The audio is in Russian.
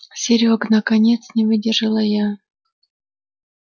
серёг наконец не выдержала я